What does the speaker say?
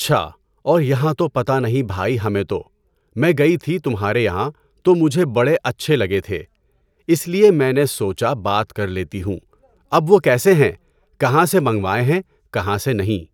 اچھا، اور یہاں تو پتہ نہیں بھاٮٔی ہمیں تو۔ میں گئی تھی تمہارے یہاں تو مجھے بڑے اچھے لگے تھے۔ اِس لیے میں نے سوچا بات کر لیتی ہوں۔ اب وہ کیسے ہیں، کہاں سے منگوائے ہیں، کہاں سے نہیں؟